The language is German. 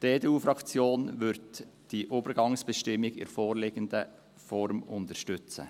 Die EDU-Faktion wird diese Übergangsbestimmung in der vorliegenden Form unterstützen.